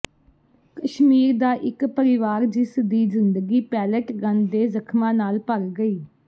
ਕਸ਼ਮੀਰ ਦਾ ਇੱਕ ਪਰਿਵਾਰ ਜਿਸ ਦੀ ਜ਼ਿੰਦਗੀ ਪੈਲੇਟ ਗੰਨ ਦੇ ਜ਼ਖਮਾਂ ਨਾਲ ਭਰ ਗਈ